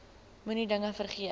moenie dinge vergeet